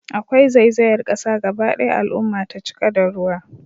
Akwai zaizayar kasa gaba daya al'umma ta cika da ruwa